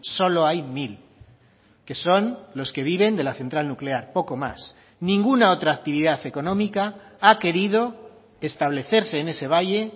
solo hay mil que son los que viven de la central nuclear poco más ninguna otra actividad económica ha querido establecerse en ese valle